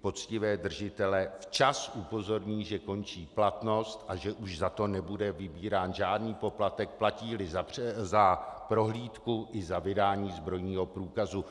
poctivé držitele včas upozorní, že končí platnost, a že už za to nebude vybírán žádný poplatek, platí-li za prohlídku i za vydání zbrojního průkazu.